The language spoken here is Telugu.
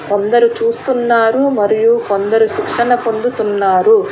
కొందరూ చూస్తున్నారు మరియు కొందరు శిక్షణ పొందుతున్నారు.